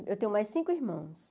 Eu tenho mais cinco irmãos.